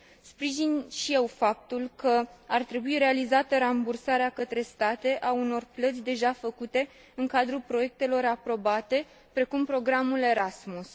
Sprijin și eu faptul că ar trebui realizată rambursarea către state a unor plăți deja făcute în cadrul proiectelor aprobate, precum programul Erasmus.